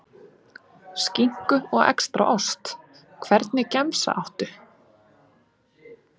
Skinku og extra ost Hvernig gemsa áttu?